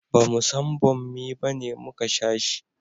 bamu san bommi bane muka sha shi